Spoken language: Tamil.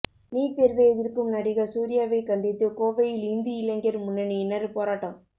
நீட் தேர்வை எதிர்க்கும் நடிகர் சூர்யாவை கண்டித்து கோவையில் இந்து இளைஞர் முன்னணியினர் போராட்டம்